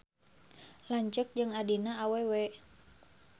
Lanceuk jeung adina awewe.